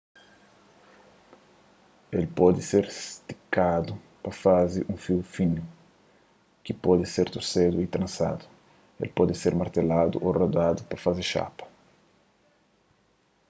el pode ser stikadu pa faze un fiu finu ki pode ser torsedu y transadu el pode ser marteladu ô roladu pa faze xapas